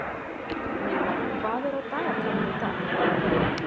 Milla, hvað er á dagatalinu í dag?